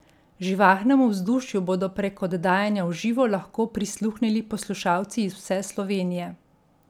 Živahnemu vzdušju bodo prek oddajanja v živo lahko prisluhnili poslušalci iz vse Slovenije.